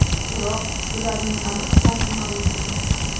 Biroq ularning aniq soni ma’lum emas.